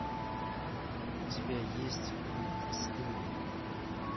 у тебя есть мульт стыд